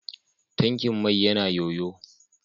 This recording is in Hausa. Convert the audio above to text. Tankin mai yana ƴoƴo.